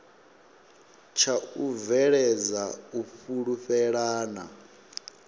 tsha u bveledza u fhulufhelana